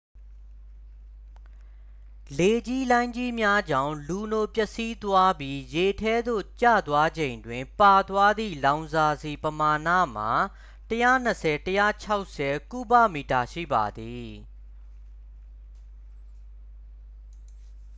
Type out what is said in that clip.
လေကြီးလှိုင်းကြီးများကြောင့် လူနို ပျက်စီးသွားပြီး ရေထဲသို့ ကျသွားချိန်တွင် ပါသွားသည့် လောင်စာဆီ ပမာဏမှာ 120-160 ကုဗမီတာ ရှိပါသည်